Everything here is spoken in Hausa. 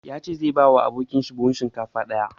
Ya ce zai ba abokin shi buhun shinkafa ɗaya.